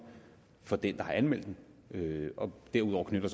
for den der har anmeldt den derudover knytter